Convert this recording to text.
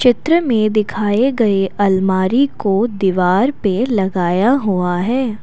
चित्र में दिखाए गए अलमारी को दीवार पे लगाया हुआ है।